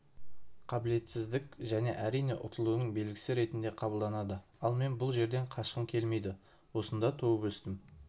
қабілетсіздік және әрине ұтылудың белгісі ретінде қабылданады ал мен бұл жерден қашқым келмейді осында туып-өстім